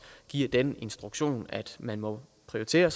giver den instruktion at man må prioritere